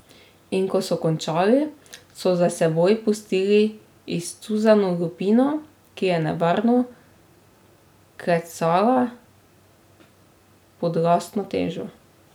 In ko so končali, so za seboj pustili izcuzano lupino, ki je nevarno klecala pod lastno težo.